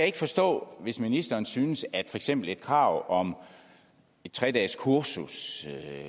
ikke forstå hvis ministeren synes at eksempel et krav om et tre dageskursus